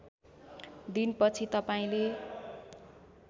दिन पछि तपाईँले